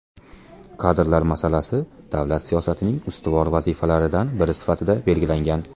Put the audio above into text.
Kadrlar masalasi davlat siyosatining ustuvor vazifalaridan biri sifatida belgilangan.